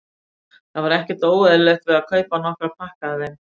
Það var ekkert óeðlilegt við að kaupa nokkra pakka af þeim.